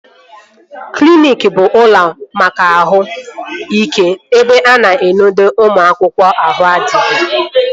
Kliniki bụ ụlọ maka ahụ ike ebe a na-enodo ụmụ akwụkwọ ahụ adịghị